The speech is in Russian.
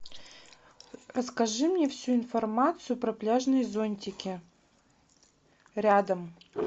расскажи мне всю информацию про пляжные зонтики рядом